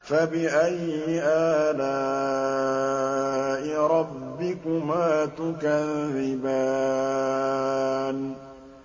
فَبِأَيِّ آلَاءِ رَبِّكُمَا تُكَذِّبَانِ